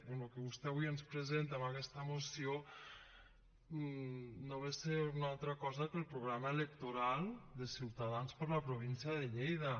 bé el que vostè avui ens presenta amb aquesta moció no ve a ser una altra cosa que el programa electoral de ciutadans per a la província de lleida